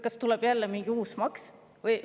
Kas tuleb mingi uus maks?